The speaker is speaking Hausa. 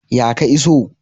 Ya ka iso?